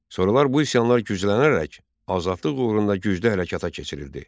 Sonralar bu üsyanlar güclənərək azadlıq uğrunda güclü hərəkata keçirildi.